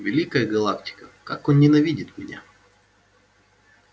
великая галактика как он ненавидит меня